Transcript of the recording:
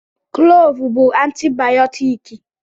Klọọvụ bụ antibayọtiki.